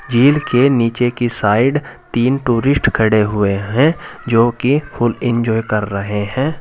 झील के नीचे की साइड तीन टूरिस्ट खड़े हुए हैं जो कि फुल इंजॉय करें रहे हैं।